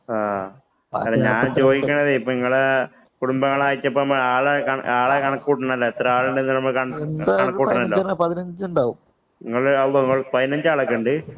ആ, ഞാന്‍ ചോദിക്കണതേ. ഇപ്പൊ നിങ്ങടെ കുടുംബങ്ങളായിട്ട് ആളെ കണക്ക് കൂട്ടണമല്ലോ. എത്ര ആളുണ്ടെന്നു നമുക്ക് കണക്ക് കൂട്ടണമല്ലോ? പതിനഞ്ചു ആളൊക്കെ ഉണ്ട്.